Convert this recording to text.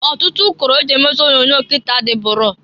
Ọtụtụ ụkọrọ e ji emezi onyoonyo kịta adịburo.